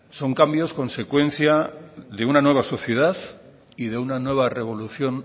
son cambios consecuencia de una nueva sociedad y de una nueva revolución